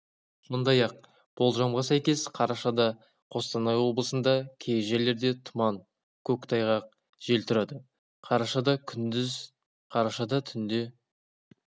сондай-ақ болжамға сәйкес қарашада қостанай облысында кей жерлерде тұман көктайғақ жел тұрады қарашада күндіз қарашада түнде